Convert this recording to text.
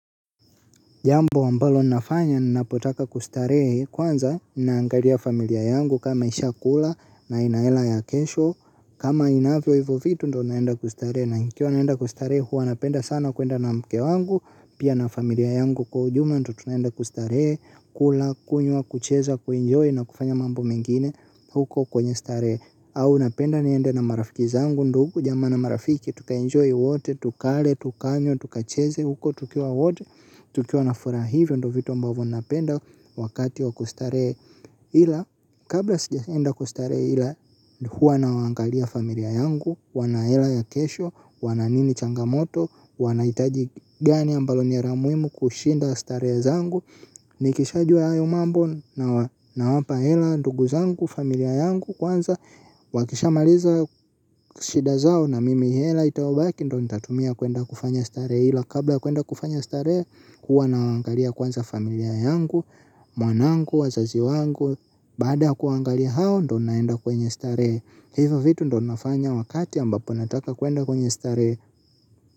Jambo ambalo nafanya ninapotaka kustarehe kwanza naangalia familia yangu kama ishakula na ina hela ya kesho. Kama inavyo hivyo vitu ndo naenda kustarehe na nikiwa naenda kustaree huwa napenda sana kuenda na mke wangu. Pia na familia yangu kwa ujumla ndo tunaenda kustarehe kula kunywa kucheza kuenjoy na kufanya mambo mengine huko kwenye starehe. Au napenda niende na marafiki zangu ndugu, jamaa na marafiki, tukaenjoy wote, tukale, tukanywe, tukacheze huko, tukiwa wote, tukiwa nafuraha hivyo, ndio vitu ambavyo napenda wakati wa kustarehe ila. Kabla sijaenda kustare ila huwa nawangalia familia yangu. Wanahela ya kesho, wana nini changamoto. Wanahitaji gani ambalo ni la muhimu kushinda starehe zangu. Nikishajua hayo mambo nawapa hela, ntugu zangu, familia yangu. Kwanza, wakishamaliza shida zao na mimi hela itakayobaki ndio natatumia kuenda kufanya starehe ila kabla kuenda kufanya starehe, huwa nawaangalia kwanza familia yangu. Mwanangu, wazazi wangu, baada kuangali hao ndo naenda kwenye starehe. Hivyo vitu ndo nafanya wakati ambapo nataka kuenda kwenye starehe.